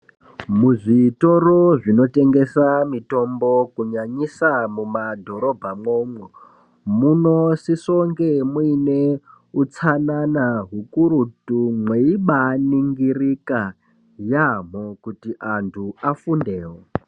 Muzvitoro zvinotengesa mitombo kunyanyisa mumadhorobha mwomwo munosiso kunge muine utsanana kakurutu mweibaningirika yaamho kuti antu afundewo.